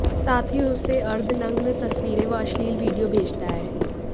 साथ ही उसे अर्धनग्न तस्वीरें व अश्लील वीडियो भेजता है